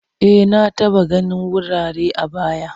E, na taba ganin wurare a baya.